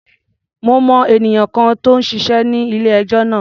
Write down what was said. Mo mọ ènìyàn kan tó ń ṣiṣé ní ilé-ẹjọ́ náà.